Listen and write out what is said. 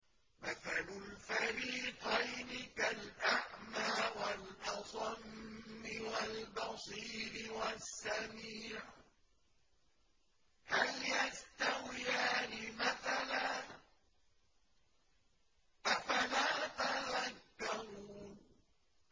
۞ مَثَلُ الْفَرِيقَيْنِ كَالْأَعْمَىٰ وَالْأَصَمِّ وَالْبَصِيرِ وَالسَّمِيعِ ۚ هَلْ يَسْتَوِيَانِ مَثَلًا ۚ أَفَلَا تَذَكَّرُونَ